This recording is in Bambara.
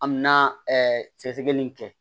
An mɛna ɛɛ sɛgɛsɛgɛli in kɛ